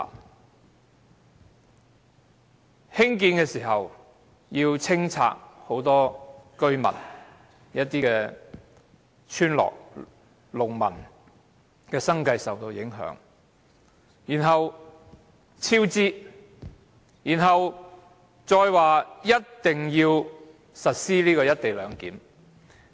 當局為興建高鐵，須清拆很多村落民居，影響村民及農民的生計；接着，工程超支；然後，政府又表明一定要實施"一地兩檢"。